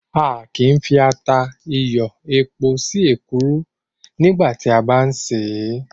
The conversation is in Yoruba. A kìí fi ata, iyọ̀, epo sí èkuru nígbà tí a bá ń ṣè é.